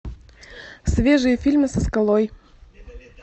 свежие фильмы со скалой